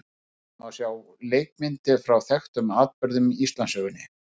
Þar má sjá leikmyndir frá þekktum atburðum í Íslandssögunni.